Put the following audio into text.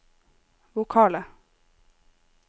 vokale